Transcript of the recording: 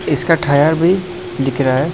इसका टायर भी दिख रहा है।